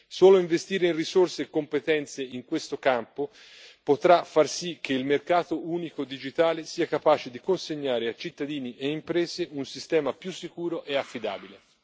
Solo investire in risorse e competenze in questo campo potrà far sì che il mercato unico digitale sia capace di consegnare a cittadini e imprese un sistema più sicuro e affidabile.